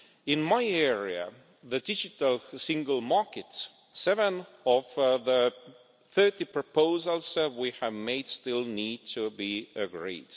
In my area, the digital single market, seven of the 30 proposals we have made still need to be agreed.